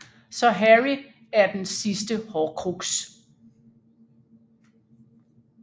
Så Harry er den sidste horcrux